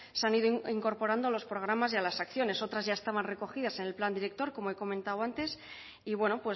se han ido incorporando a los programas y a las acciones otras ya estaban recogidas en el plan director como he comentado antes y bueno